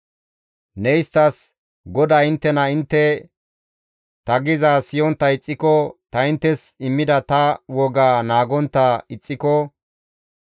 Ne isttas, ‹GODAY inttena intte ta gizaaz siyontta ixxiko, ta inttes immida ta wogaa naagontta ixxiko,